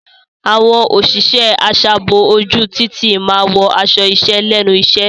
Àwọn òṣìṣẹ́ aṣààbò ojú títì máa wọ aṣọ iṣẹ́ lẹ́nu iṣẹ́.